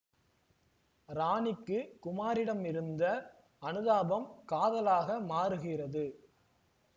ராணிக்கு குமாரிடமிருந்த அனுதாபம் காதலாக மாறுகிறது